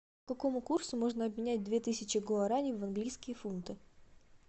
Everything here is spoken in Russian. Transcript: по какому курсу можно обменять две тысячи гуарани в английские фунты